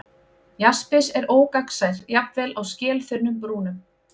Jaspis er ógagnsær, jafnvel á skelþunnum brúnum.